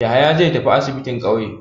Yahaya zai tafi asibin ƙauye.